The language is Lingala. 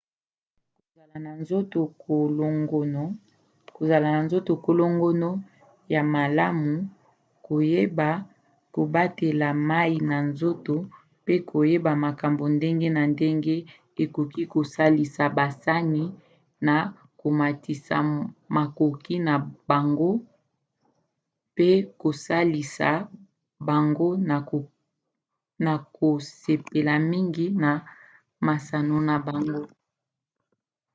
kozala na nzoto kolongono ya malamu koyeba kobatela mai na nzoto mpe koyeba makambo ndenge na ndenge ekoki kosalisa basani na komatisa makoki na bango mpe kosalisa bango na kosepela mingi na masano na bango